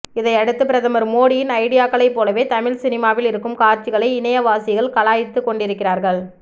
இதையடுத்து பிரதமர் மோடியின் ஐடியாக்களை போலவே தமிழ் சினிமாவில் இருக்கும் காட்சிகளை இணையவாசிகள் கலாய்த்து கொண்டிருக்கிறார்கள்